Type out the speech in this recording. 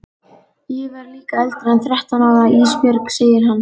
Ég verð líka eldri en þrettán ára Ísbjörg, segir hann.